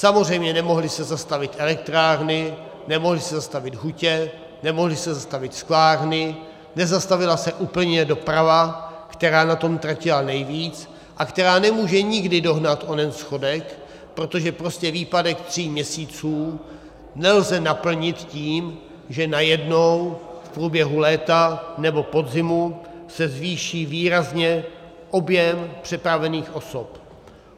Samozřejmě nemohly se zastavit elektrárny, nemohly se zastavit hutě, nemohly se zastavit sklárny, nezastavila se úplně doprava, která na tom tratila nejvíc a která nemůže nikdy dohnat onen schodek, protože prostě výpadek tří měsíců nelze naplnit tím, že najednou v průběhu léta nebo podzimu se zvýší výrazně objem přepravených osob.